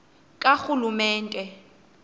karhulumente